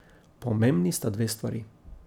Pomembni sta dve stvari.